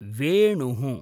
वेणुः